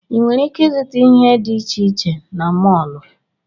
Ị nwere ike ịzụta ihe dị iche iche na mọọlụ.